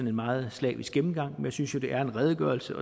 en meget slavisk gennemgang men jeg synes jo det er en redegørelse